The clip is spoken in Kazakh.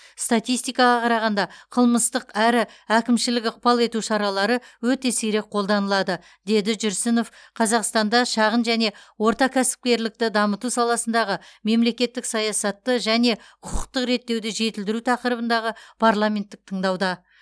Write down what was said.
статистикаға қарағанда қылмыстық әрі әкімшілік ықпал ету шаралары өте сирек қолданылады деді жүрсінов қазақстанда шағын және орта кәсіпкерлікті дамыту саласындағы мемлекеттік саясатты және құқықтық реттеуді жетілдіру тақырыбындағы парламенттік тыңдауда